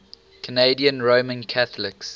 canadian roman catholics